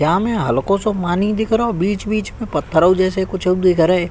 यहाँ में हल्को सो मानी दिखरो। बीच बीच में पत्थरों जैसे कुछउ दिख रहे।